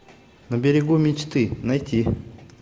на берегу мечты найти